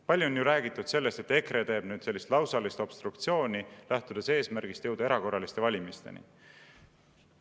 Palju on ju räägitud sellest, et EKRE teeb nüüd sellist lausalist obstruktsiooni, lähtudes eesmärgist jõuda erakorraliste valimisteni.